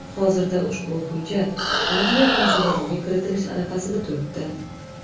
Hozirda ushbu hujjat Adliya vazirligiga kiritilish arafasida turibdi.